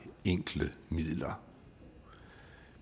enkle midler